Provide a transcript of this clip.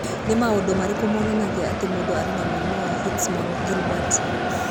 Nĩ maũndũ marĩkũ monanagia atĩ mũndũ arĩ na mũrimũ wa Fitzsimmons Guilbert?